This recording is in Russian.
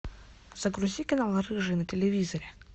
загрузи канал рыжий на телевизоре